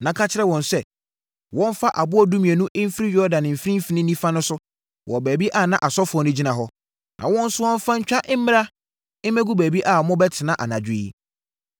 na ka kyerɛ wɔn sɛ, wɔmfa aboɔ dumienu mfiri Yordan mfimfini nifa so wɔ baabi a na asɔfoɔ no gyina hɔ, na wɔnsoa mfa ntwa mmra mmɛgu baabi a mobɛtena anadwo yi.”